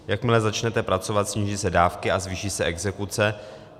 Jakmile začnete pracovat, sníží se dávky a zvýší se exekuce.